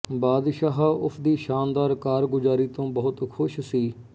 ਬਾਦਸ਼ਾਹ ਉਸਦੀ ਸ਼ਾਨਦਾਰ ਕਾਰਗੁਜਾਰੀ ਤੋਂ ਬਹੁਤ ਖੁਸ਼ ਸੀ